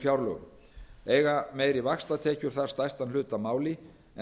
fjárlögum eiga meiri vaxtatekjur þar stærstan hlut að máli